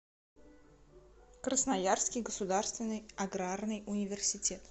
красноярский государственный аграрный университет